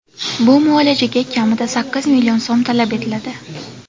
Bu muolajaga kamida sakkiz million so‘m talab etiladi.